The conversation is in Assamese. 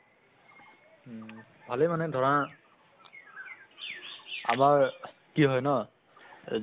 উম ভালে মানে ধৰা আমাৰ কি হয় ন এ